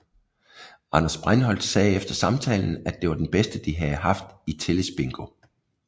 Anders Breinholt sagde efter samtalen at det var den bedste de havde haft i tillidsbingo